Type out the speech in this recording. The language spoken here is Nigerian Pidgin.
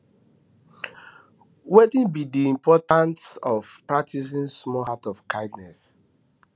wetin be di importance of practicing small acts of kindness